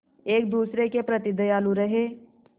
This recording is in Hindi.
एक दूसरे के प्रति दयालु रहें